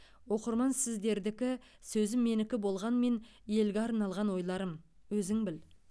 оқырман сіздердікі сөзім менікі болғанмен елге арналған ойларым өзің біл